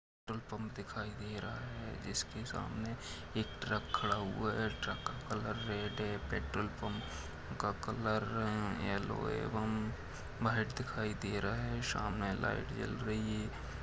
Petrol pump दिखाई दे रहा है इसके सामने एक ट्रक खड़ा हुआ है ट्रक का कलर रेड है पेट्रोल पंप का कलर अं येल्लो एवं व्हाइट दिखाई दे रहा है सामने लाइट जल रही है।